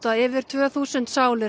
yfir tvö þúsund sálir